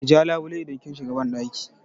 Ki ja labule idan kin shiga banɗaki!